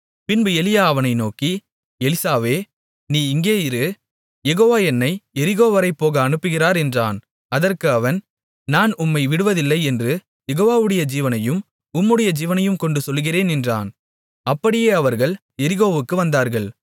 பின்பு எலியா அவனை நோக்கி எலிசாவே நீ இங்கே இரு யெகோவா என்னை எரிகோவரை போக அனுப்புகிறார் என்றான் அதற்கு அவன் நான் உம்மை விடுவதில்லை என்று யெகோவாவுடைய ஜீவனையும் உம்முடைய ஜீவனையும் கொண்டு சொல்லுகிறேன் என்றான் அப்படியே அவர்கள் எரிகோவுக்கு வந்தார்கள்